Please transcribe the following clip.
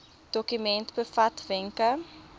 dokument bevat wenke